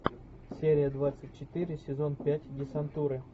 серия двадцать четыре сезон пять десантуры